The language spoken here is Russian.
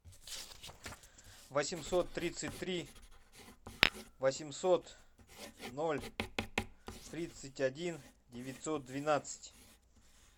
восемьсот тридцать три восемьсот ноль тридцать один девятьсот двенадцать